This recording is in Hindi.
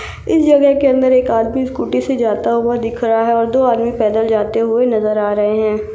इस जगह के अंदर एक आदमी स्कूटी से जाता हुआ दिख रहा है और दो आदमी पैदल जाते हुए नजर आ रहा है।